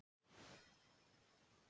Fyrir hvað var það?